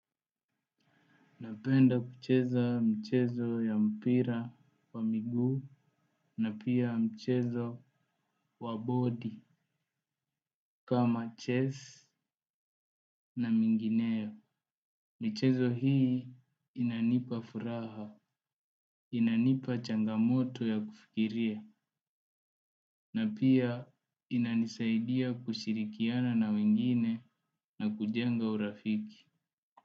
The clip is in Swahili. Napenda kucheza mchezo ya mpira wa migu na pia mchezo wa body kama chess na mingineo. Michezo hii inanipa furaha, inanipa changamoto ya kufikiria na pia inanisaidia kushirikiana na wengine na kujenga urafiki.